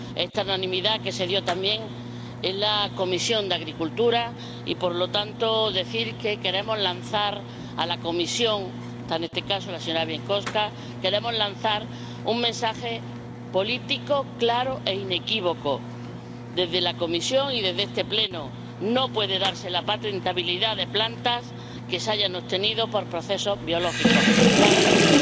esta unanimidad se dio también en la Comisión de Agricultura y, por lo tanto, queremos lanzar a la Comisión —en este caso a la señora Bieńkowska— un mensaje político claro e inequívoco, desde la comisión y desde este Pleno no puede darse la patentabilidad de plantas que se hayan obtenido por procesos biológicos, claramente.